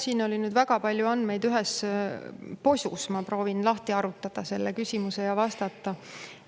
Siin oli nüüd väga palju andmeid ühes posus, ma proovin lahti harutada selle küsimuse ja vastata.